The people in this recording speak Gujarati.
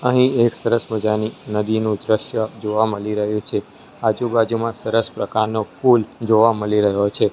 અહીં એક સરસ મજાની નદીનું દ્રશ્ય જોવા મળી રહ્યું છે આજુબાજુમાં સરસ પ્રકારનો ફૂલ જોવા મલી રહ્યો છે.